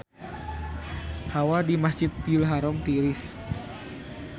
Hawa di Masjidil Haram tiris